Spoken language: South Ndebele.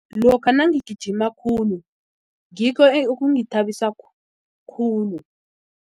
Lokha nangigijima khulu ngikho okungithabisa khulu.